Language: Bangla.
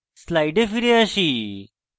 slides ফিরে আসি